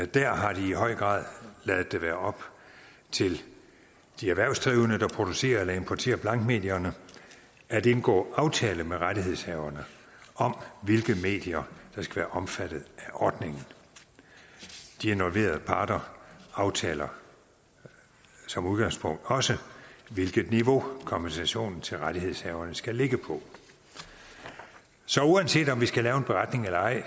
der har de i høj grad ladet det være op til de erhvervsdrivende der producerer eller importerer blankmedierne at indgå aftale med rettighedshaverne om hvilke medier der skal være omfattet af ordningen de involverede parter aftaler som udgangspunkt også hvilket niveau kompensation til rettighedshaverne skal ligge på så uanset om vi skal lave en beretning eller ej